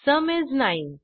sum इस 9